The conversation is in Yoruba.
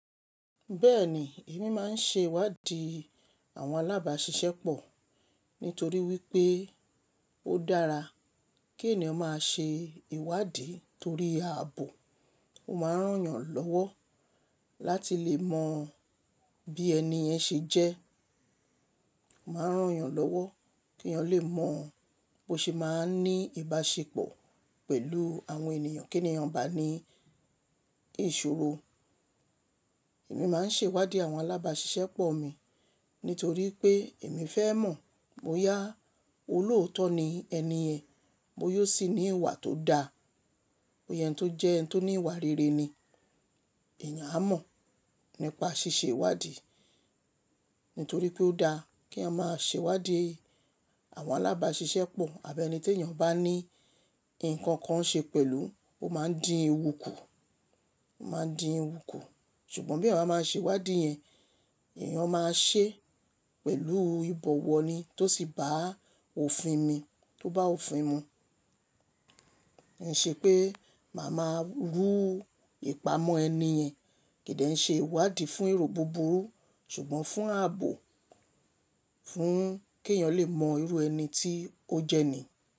Bẹ́ẹ̀ni, èmi máa ń ṣe ìwádìí àwọn alábàṣiṣẹ́ pọ̀ nítorí wípé ó dára kí ènìyàn máa ṣe ìwádìí torí ààbò. Ó máa ń rán yàn lọ́wọ́ láti lè mọ bí ẹni yẹn ṣe jẹ́. Ó máa ń rán yàn lọ́wọ́ kí eeyàn lè mọ bó ṣe máa ń ní ìbáṣepọ̀ pẹ̀lú àwọn ènìyàn, kí ènìyàn bá ní ìṣòro. Èmi máa ń ṣe ìwádìí àwọn alábàṣiṣẹ́ pọ̀ mi nítorí pé èmi fẹ́ mọ̀ bóyá olóòótọ́ ni ẹni yẹn, bóya o sì ní ìwà tó da, bóya eni tó jẹ́, ẹni tó ní ìwà rere ni. Èèyàn á mọ̀ nípa ṣíṣe ìwádìí, nítorí pé ó da kí eeyan máa ṣe ìwádìí àwọn alábàṣiṣẹ́ pọ̀ àbí ẹni tí ènìyàn bá ní nǹkan kan ṣe pẹ̀lú, ó máa ń di ewu kù, ó máa ń di ewu kù. Ṣùgbọ́n bí eeyan bá máa ṣe ìwádìí yẹn, èèyàn máa ṣe é pẹ̀lú ìbọ̀wọ̀ ni tó sì bá òfin mi, tó bá òfin mu. Ẹ̀ ṣe pé màá máa ru ìpamọ́ ẹni yẹn. Kìí dẹ́ ṣe ìwádìí fún ero búburú ṣùgbọ́n fún ààbò, fún kí èèyàn lè mọ irú ẹni tí ó jẹ́ ni.